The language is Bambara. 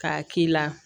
K'a k'i la